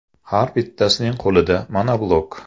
Har bittasining qo‘lida monoblok.